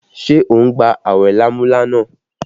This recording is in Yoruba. Ṣé o ń gba awẹ lámúlánà?